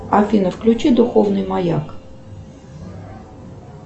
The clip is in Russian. афина включи духовный маяк